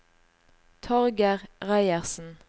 Torger Reiersen